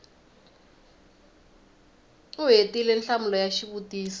u hetile nhlamulo ya xivutiso